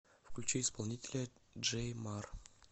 включи исполнителя джей мар